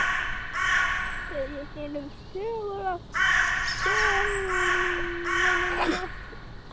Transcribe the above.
Bauð ég hinum þögula förunaut: Góða nótt og hljóp heim.